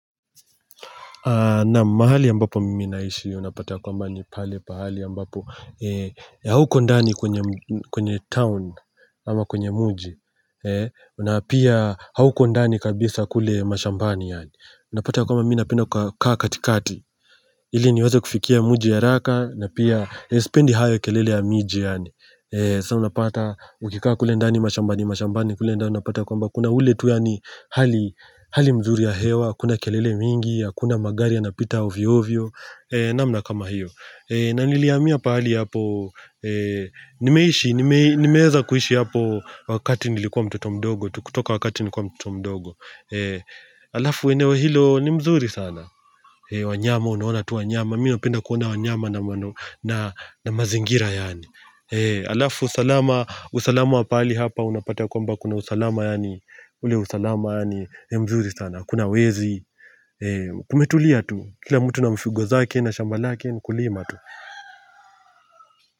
Naam, mahali ambapo mimi naishi unapata kwamba ni pale pahali ambapo hauko ndani kwenye town ama kwenye muji una pia hauko ndani kabisa kule mashambani yani Unapata kwa mimi napenda kaa katikati ili niweze kufikia muji haraka na pia Sipendi hayo kelele ya miji yani Sa unapata ukikaa kule ndani mashambani mashambani kule ndani unapata kwamba kuna ule tu yani hali mzuri ya hewa Hakuna kelele mingi, hakuna magari yanapita ovyo ovyo namna kama hiyo Nanilihamiya pahali hapo Nimeishi, nimeeza kuhishi hapo Wakati nilikuwa mtoto mdogo tu kutoka wakati nikuwa mtoto mdogo Alafu eneo hilo ni mzuri sana wanyama, unaona tu wanyama Mi napenda kuona wanyama na mazingira yani Alafu usalama, usalama wa pahali hapa Unapata kwamba kuna usalama yani ule usalama yani, ni mzuri sana Hakuna wezi kumetulia tu kila mtu na mfugo zake na shamba lake ni kulima tu.